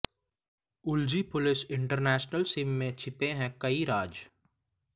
उलझी police international SIM में छिपे हैं कई राज